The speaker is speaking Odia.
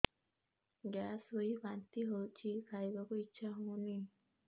ଗ୍ୟାସ ହୋଇ ବାନ୍ତି ହଉଛି ଖାଇବାକୁ ଇଚ୍ଛା ହଉନି